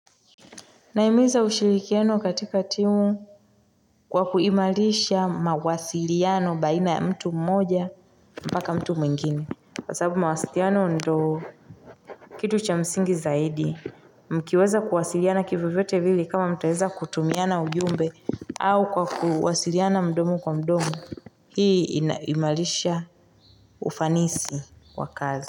Naimiza ushirikiano katika timu kwa kuimalisha mawasiliano baina ya mtu mmoja mpaka mtu mwingine kwa sababu mawasiliano ndo kitu cha msingi zaidi mkiweza kuwasiliana kivovyote hili kama mtaweza kutumiana ujumbe au kwa kuwasiliana mdomo kwa mdomo hii imalisha ufanisi kwa kazi.